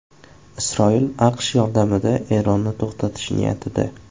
Isroil AQSh yordamida Eronni to‘xtatish niyatida.